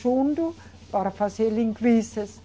Junto, para fazer linguiças.